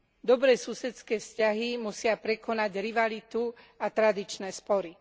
Dobré susedské vzťahy musia prekonať rivalitu a tradičné spory.